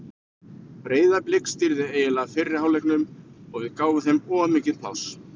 Breiðablik stýrði eiginlega fyrri hálfleiknum og við gáfum þeim of mikið pláss.